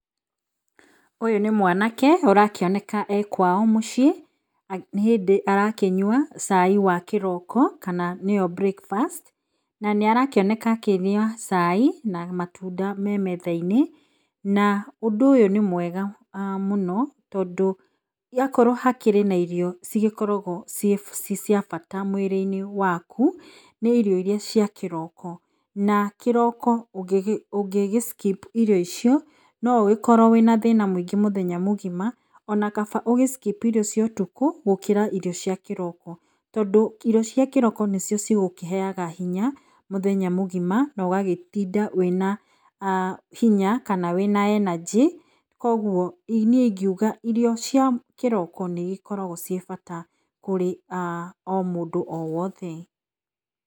Ũyũ nĩ mwanake arakĩoneka ekwao mũciĩ nĩ hĩndĩ arakĩnyua cai wakĩroko kana nĩo breakfast na nĩarakĩoneka akĩnyua cai na matunda memetha - inĩ na ũndũ nĩ mwega mũno tondũ, akorwo hakĩrĩ na irio cigĩkoragwo cicia bata mwĩrĩ -inĩ waku nĩ irio irĩa cia kĩroko na kĩroko ũngĩgĩskipu irio icio noũgĩkorwo wĩna thĩna mũingĩ ona kaba ũgĩskip irio cia ũtukũ gũkĩra irio cia kĩroko. Tondũ irio cia kĩroko nĩcio cigĩkũheaga hinya mũthenya mũgima naũgatinda wĩna hinya kana wĩna energy koguo niĩ ingĩuga irio cia kĩroko nĩcikoragwo cicia bata kũrĩ o mũndũ o wothe.